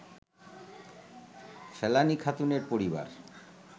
ফেলানী খাতুনের পরিবার